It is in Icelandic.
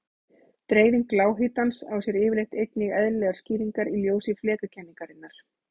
Dreifing lághitans á sér yfirleitt einnig eðlilegar skýringar í ljósi flekakenningarinnar.